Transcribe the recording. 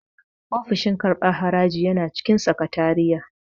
Ofishin karɓan haraji yana cikin sakatariya